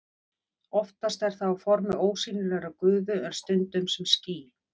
Oftast er það á formi ósýnilegrar gufu en stundum sem ský.